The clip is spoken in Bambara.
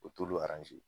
O t'olu